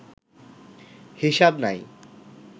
হিশাব নাই